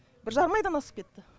бір жарым айдан асып кетті